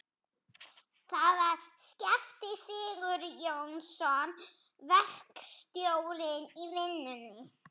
Það var Skafti Sigurjónsson, verkstjórinn í vinnunni.